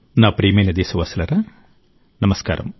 నా ప్రియమైన దేశవాసులారా నమస్కారం